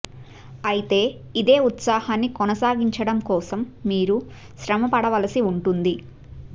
అయితే ఇదే ఉత్సాహాన్ని కొనసాగించడం కోసం మీరు శ్రమ పడవలసి ఉంటుంది